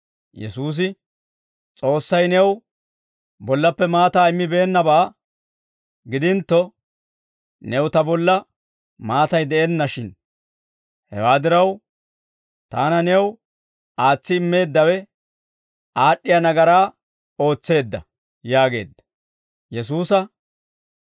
Yesuusi, «S'oossay new bollappe maataa immibeennabaa gidintto, new Ta bolla maatay de'enna shin. Hewaa diraw, Taana new aatsi immeeddawe aad'd'iyaa nagaraa ootseedda» yaageedda.